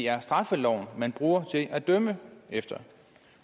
er straffeloven man bruger til at dømme efter